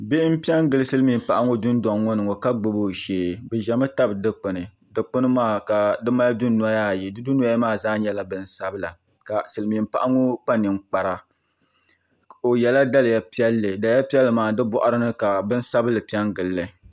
Bihi n piɛ n gili silmiin paɣa ŋɔ dundoŋ ŋɔ ni ŋɔ ka gbubi o shee bi ʒɛmi tabi dikpuni dikpuni maa ka di mali dunoya ayi di dunoya maa zaa nyɛla bin sabila ka silmiin paɣa ŋɔ kpa ninkpara o yɛla daliya piɛlli daliya piɛlli maa di boɣari ni ka bin piɛlli piɛ n gili